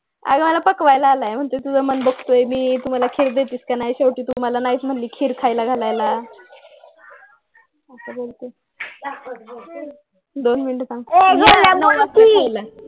अगं मला पकवायला लागलंय म्हणतोय कि तुझं मन बघतोय मी तू मला खीर देतेस कि नाही शेवटी तू मला नाहीच म्हणली खीर घालायला असं बोलतोय दोन मिनिट थांब